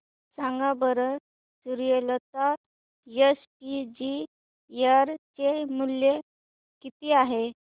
सांगा बरं Suryalata SPG share चे मूल्य किती आहे